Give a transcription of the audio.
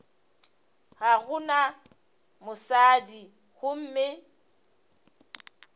ga go na mosadi gomme